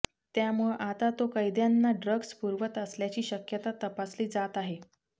त्यामुळं आता तो कैद्यांना ड्रग्ज पुरवत असल्याची शक्यता तपासली जात आहे